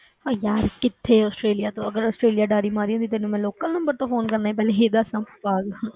ਉਹ ਯਾਰ ਕਿੱਥੇ ਆਸਟ੍ਰੇਲੀਆ ਤੋਂ ਅਗਰ ਆਸਟ੍ਰੇਲੀਆ ਉਡਾਰੀ ਮਾਰੀ ਹੁੰਦੀ ਤੈਨੂੰ ਮੈਂ local number ਤੋਂ phone ਕਰਨਾ ਸੀ, ਪਹਿਲਾਂ ਇਹ ਦੱਸ ਹਾਂ ਪਾਗਲ